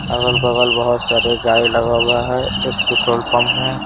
अगल-बगल बहुत सारे गाय लगा हुआ है एक पेट्रोल पंप है ।